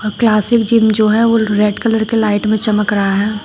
Classic gym जो है वो रेड कलर के लाइट में चमक रहा है।